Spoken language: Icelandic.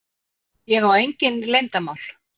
Ég á engin leyndarmál.